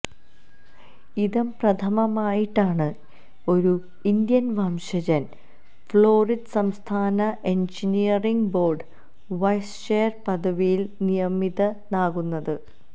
ഇദംപ്രഥമമായിട്ടാണ് ഒരു ഇന്ത്യന് വംശജന് ഫ്ളോറിഡ സംസ്ഥാന എന്ജനീയറിംഗ് ബോര്ഡ് വൈസ് ചെയര് പദവിയില് നിയമിതനാകുന്നത്